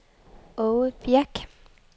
Aage Birch